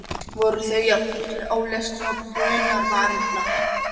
Voru þau í jafn miklum ólestri og brunavarnirnar?